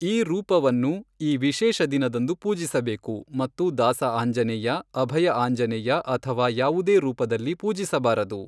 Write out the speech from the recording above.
ಈ ರೂಪವನ್ನು, ಈ ವಿಶೇಷ ದಿನದಂದು ಪೂಜಿಸಬೇಕು ಮತ್ತು ದಾಸ ಆಂಜನೇಯ, ಅಭಯ ಆಂಜನೇಯ ಅಥವಾ ಯಾವುದೇ ರೂಪದಲ್ಲಿ ಪೂಜಿಸಬಾರದು.